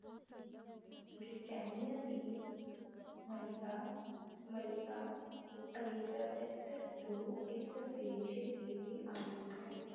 ਬਰਤਾਨੀਆ ਦੀ ਮਲਿਕਾ, ਮਲਿਕਾ ਅਲਿਜ਼ਾਬੇਥ ਦੌ ਇਸ ਦੇਸ਼ ਦੀ ਵੀ ਆਗੂ ਹੈ